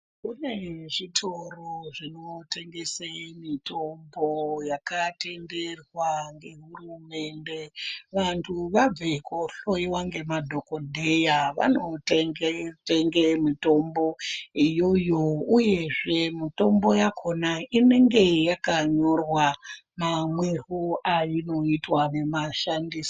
Kune zvitoro zvinotengese mitombo yakatenderwa ngehurumende. Vantu vabva kohloyiwa ngemadhokodheya vanotenge mitombo iyoyo, uyezve mutombo yakhona inenge yakanyorwa mamwirwo ainoitwa nemashandisiro.